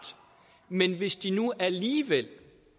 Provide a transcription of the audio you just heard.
men hvis de nu alligevel